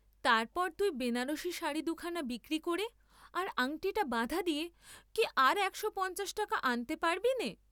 তার পর তুই বেনাবসী শাড়ি দুখানা বিক্রি করে আর আংটিটা বাঁধা দিয়ে কি আর দেড়শো টাকা আনতে পারবিনে?